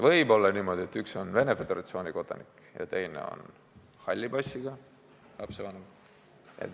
Võib olla ka niimoodi, et üks on Venemaa Föderatsiooni kodanik ja teine on halli passiga lapsevanem.